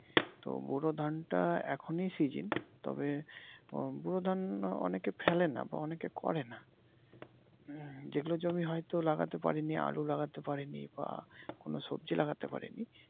তো ব্যুরো ধানটা এখনি সিজন তবে ব্যুরো ধান অনেকে ফেলে নাহ বা অনেকে করে নাহ । যেগুলো জমি হয়তো লাগাতে পারিনি আলু লাগাতে পারিনি বা কোন সবজি লাগাতে পারি নি।